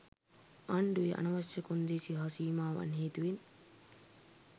ආණඩුවේ අනවශ්‍ය කොන්දේසි හා සීමාවන් හේතුවෙන්